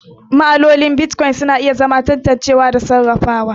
Ma'amaloli na Bitcoin suna da juriya ga tantancewa da sarrafawa.